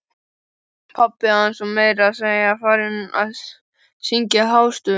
Pabbi hans var meira að segja farinn að syngja hástöfum!